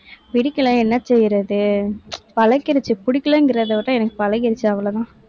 பிடிக்கலைன்னா என்ன செய்யறது? பழகிடுச்சு விட எனக்கு பழகிருச்சு அவ்வளவுதான்.